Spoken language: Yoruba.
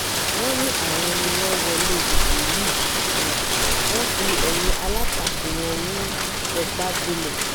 wọ́n ní àwọn ni wọ́n wọlé ìbò yìí wọ́n fi eyín alátakò wọn u epa gbolẹ̀